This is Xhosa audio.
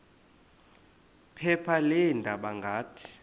phepha leendaba ngathi